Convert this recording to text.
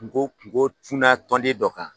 Kungo kungo cunna tɔnden dɔ kan.